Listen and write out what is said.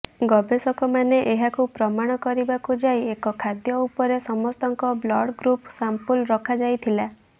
ଗବେଷକମାନେ ଏହାକୁ ପ୍ରମାଣ କରିବାକୁ ଯାଇ ଏକ ଖାଦ୍ୟ ଉପରେ ସମସ୍ତଙ୍କ ବ୍ଲଡ଼୍ଗ୍ରୁପ୍ର ସାମ୍ପଲ ରଖା ଯାଇଥିଲା